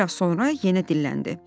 Bir az sonra yenə dilləndi.